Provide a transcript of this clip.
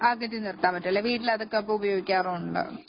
അകറ്റി നിർത്താൻ പറ്റുമല്ലേ അപ്പൊ വീട്ടിലതൊക്കെ ഉപയോഗിക്കാറുണ്ടോ